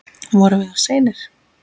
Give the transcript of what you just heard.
Vorum við of seinir?